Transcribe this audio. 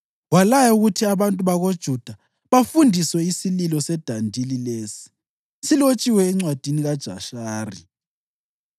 walaya ukuthi abantu bakoJuda basifundiswe isililo sedandili lesi (silotshiwe eNcwadini kaJashari):